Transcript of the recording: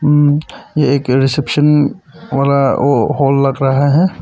उम ये एक रिसेप्शन वाला हॉल लग रहा है।